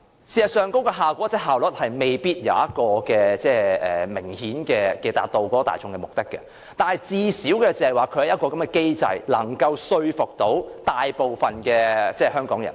事實上，那效果或效率未必可以明顯達到大眾的期望，但最少也有一個機制能夠說服大部分香港人。